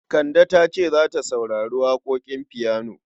Kande ta ce za ta saurari waƙoƙin fiyano.